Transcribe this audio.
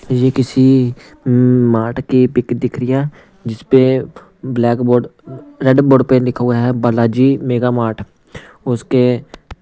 ये किसी हम्म मार्ट की पिक दिख रही है जिसपे ब्लैक बोर्ड रेड बोर्ड पे लिखा हुआ है बालाजी मेगा मार्ट उसके--